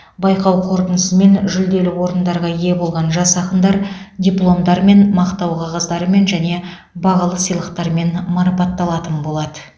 байқау қорытындысымен жүлделі орындарға ие болған жас ақындар дипломдармен мақтау қағаздарымен және бағалы сыйлықтармен марапатталатын болады